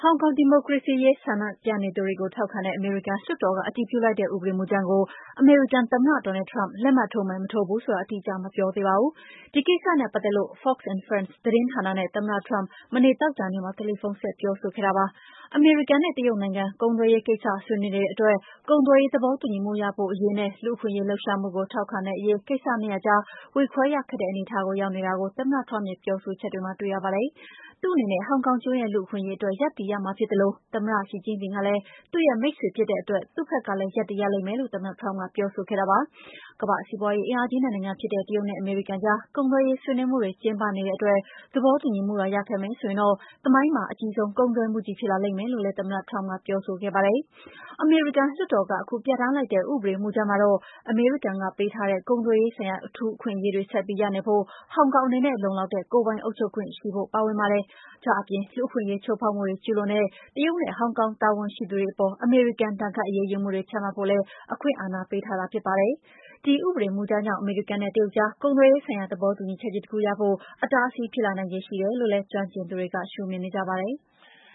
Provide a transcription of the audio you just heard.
င်ကောင်ဒီမိုကရေစီအရေး ဆန့်ကျင်ဆန္ဒပြနေသူတွေကို ထောက်ခံတဲ့ အမေရိကန်လွှတ်တော်က အတည်ပြုလိုက်တဲ့ ဥပဒေမူကြမ်းကို အမေရိကန်သမ္မတ Trump လက်မှတ်ထိုးမယ်၊ မထိုးဘူးဆိုတာ အတိအကျ မပြောသေးပါဘူး။ ဒီကိစ္စနဲ့ပတ်သက်လို့ "Fox and Friends” သတင်းဌာနနဲ့ သမ္မတ Trump မနေ့ သောကြာနေ့မှာ တယ်လီဖုန်းဆက် ပြောဆိုခဲ့တာပါ။ အမေရိကန်က တရုတ်နိုင်ငံနဲ့ ကုန်သွယ်ရေးကိစ္စ ဆွေးနွေးနေတဲ့အတွက် ကုန်သွယ်ရေး သဘောတူညီမှုရဖို့အရေးနဲ့ လူ့အခွင့်အရေး လှုပ်ရှားမှုကို ထောက်ခံရေး ကိစ္စနှစ်ရပ်ကြား ဝေခွဲရခက်တဲ့ အနေအထားကို ရောက်နေတာကို သမ္မတ Trump ရဲ့ ပြောဆိုချက်တွေမှာ တွေ့ရပါတယ်။ သူ့အနေနဲ့ ဟောင်ကောင်ကျွန်းရဲ့ လူ့အခွင့်အရေးအတွက် ရပ်တည်ရမှာဖြစ်သလို သမ္မတ ရှီကျင့်ဖျင်ကလည်း သူ့မိတ်ဆွေဖြစ်တဲ့အတွက် သူ့ဘက်ကလည်း ရပ်တည်ရလိမ့်မယ်လို့ သမ္မတ Trump က ပြောဆိုခဲ့တာပါ။ ကမ္ဘာ့စီးပွားရေးအင်အားကြီး နှစ်နိုင်ငံဖြစ်တဲ့ တရုတ်နဲ့ အမေရိကန်ကြား ကုန်သွယ်ရေး ဆွေးနွေးမှုတွေ ကျင်းပနေတဲ့အတွက် သဘောတူညီမှုသာ ရခဲ့မယ်ဆိုရင် သမိုင်းမှာ အကြီးဆုံး ကုန်သွယ်မှုကြီး ဖြစ်လာမယ်လို့လည်း သမ္မတ Trump က ပြောဆိုခဲ့ပါတယ်။ အမေရိကန်လွှွတ်တော်က ခုပြဋ္ဌာန်းလိုက်တဲ့ ဥပဒေမူကြမ်းမှာတော့ အမေရိကန်က ပေးထားတဲ့ ကုန်သွယ်ရေးဆိုင်ရာ အထူးအခွင့်အရေး ဆက်ပြီးရနေဖို့ ဟောင်ကောင်အနေနဲ့ လုံလောက်တဲ့ ကိုယ်ပိုင်အုပ်ချုပ်ခွင့်ရှိဖို့ ပါဝင်ပါတယ်။ ဒါ့အပြင် လူ့အခွင့်အရေး ချိုးဖောက်မှုတွေ ကျူးလွန်တဲ့ တရုတ်နဲ့ ဟောင်ကောင် တာဝန်ရှိသူတွေအပေါ် အမေရိကန် ဒဏ်ခတ်အရေးယူမှုတွေ ချမှတ်ဖို့လည်း အခွင့်အာဏာပေးထားတာ ဖြစ်ပါတယ်။ ဒီဥပဒေမူကြမ်းကြောင့် အမေရိကန်နဲ့ တရုတ်ကြား ကုန်သွယ်ရေးဆိုင်ရာ သဘောတူညီချက်ကြီး တခုရဖို့ အတားအဆီး ဖြစ်လာနိုင်ခြေ ရှိတယ်လို့ ကျွမ်းကျင်သူတွေက ရှုမြင်ကြပါတယ်။